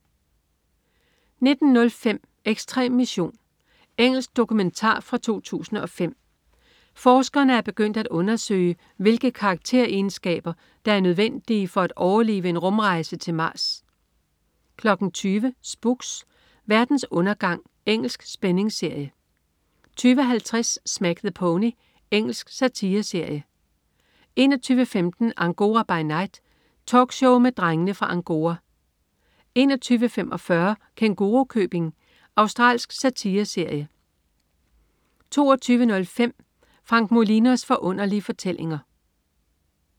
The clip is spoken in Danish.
19.05 Ekstrem mission. Engelsk dokumentar fra 2005. Forskerne er begyndt at undersøge, hvilke karakteregenskaber der er nødvendige for at overleve en rumrejse til Mars 20.00 Spooks: Verdens undergang. Engelsk spændingsserie 20.50 Smack the Pony. Engelsk satireserie 21.15 Angora by Night. Talkshow med Drengene fra Angora 21.45 Kængurukøbing. Australsk satireserie 22.05 Frank Molinos Forunderlige Fortællinger